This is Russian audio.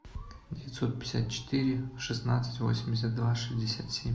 девятьсот пятьдесят четыре шестнадцать восемьдесят два шестьдесят семь